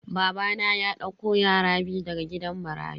Babana ya dauko yara biyu daga gidan marayu.